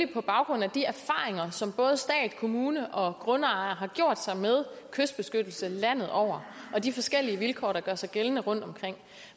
på baggrund af de erfaringer som både stat kommuner og grundejere har gjort sig med kystbeskyttelse landet over og de forskellige vilkår der gør sig gældende rundtomkring